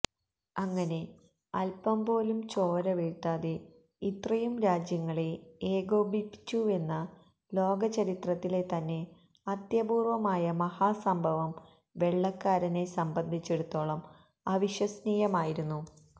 അങ്ങനെ അല്പം പോലും ചോര വീഴ്ത്താതെ ഇത്രയും രാജ്യങ്ങളെ ഏകോപിപ്പിച്ചുവെന്ന ലോകചരിത്രത്തിലെ തന്നെ അത്യപൂര്വ്വമായ മഹാസംഭവം വെള്ളക്കാരനെ സംബന്ധിച്ചിടത്തോളം അവിശ്വസനീയമായിരുന്നു